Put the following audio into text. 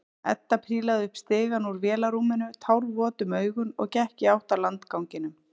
Edda prílaði upp stigann úr vélarrúminu, tárvot um augun og gekk í átt að landganginum.